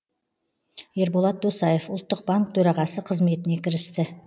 ерболат досаев ұлттық банк төрағасы қызметіне кірісті